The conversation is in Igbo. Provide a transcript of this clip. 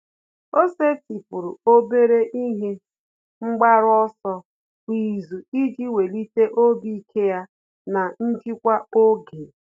Ọ́ sètị́pụ̀rụ̀ obere ihe mgbaru ọsọ kwa ìzù iji wèlíté obi ike ya na njikwa oge.